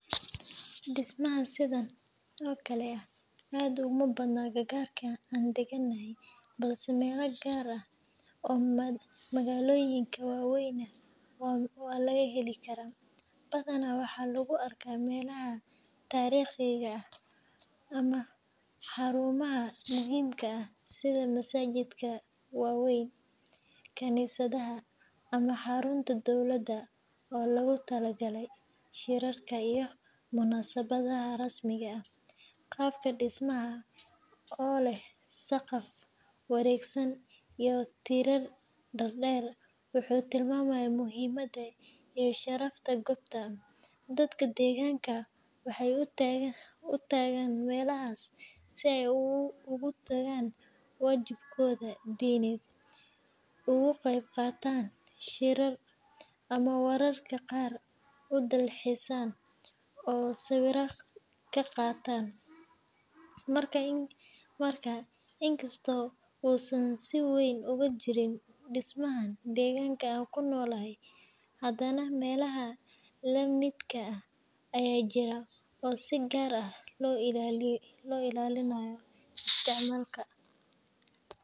Dismaha sidan oo kale kuma badno meelaha aan deganany, badanaa waxaa lagu arkaa meelaha tariiqika ah, sida masajidaha waweyn, qaabka dismaha oo leh saqaf wareegsan, dadka deeganka waxeey utagan meelahas, si aay igutaan wajibkooda dineed, in kasto uusan si weyn uga jirin, hadana melaha lamid ah oo si weyn loo ilaaliyo.